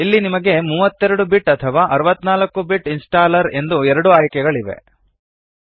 ಇಲ್ಲಿ ನಿಮಗೆ 32 ಬಿಟ್ ಅಥವಾ 64 ಬಿಟ್ ಇನ್ಸ್ಟಾಲ್ಲರ್ ಎಂದು ಎರಡು ಆಯ್ಕೆಗಳಿವೆ